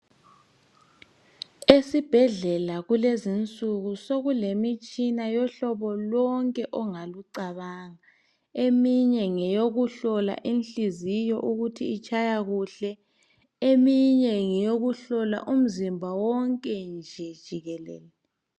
Esibhedlela kulezinsuku sokulemitshina yohlobo lonke ongalucabanga. Eminye ngeyokuhlola inhliziyo ukuthi itshaya kuhle, eminye ngeyokuhlola umzimba wonke nje jikelele.